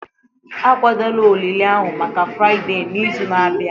akwadola olili ahụ maka Fraịde n'izu na-abịa